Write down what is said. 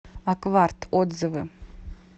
акварт отзывы